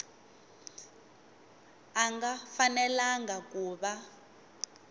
a nga fanelangi ku va